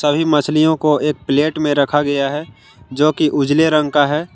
अभी मछलियों को एक प्लेट में रखा गया है जो की उजले रंग का है।